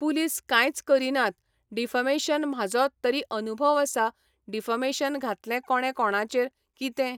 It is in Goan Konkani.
पुलीस कांयच करीनात डिफेमेशन म्हाजो तरी अनुभव आसा डिफेमेशन घातलें कोणें कोणाचेर, कितें,